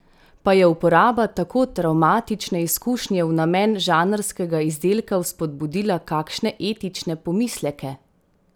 Pa je uporaba tako travmatične izkušnje v namen žanrskega izdelka vzpodbudila kakšne etične pomisleke?